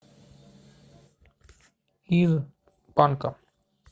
из панка